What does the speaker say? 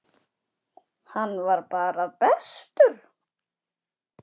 Hann var bara bestur.